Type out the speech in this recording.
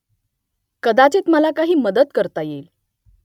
कदाचित मला काही मदत करता येईल